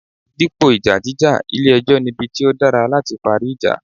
Dípò ìjà jíjà, ilé ẹjọ́ nibi tí ó dára láti parí ìjà.